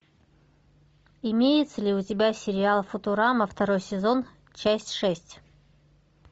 имеется ли у тебя сериал футурама второй сезон часть шесть